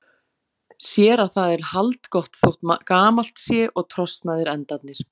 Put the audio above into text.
Sér að það er haldgott þótt gamalt sé og trosnaðir endarnir.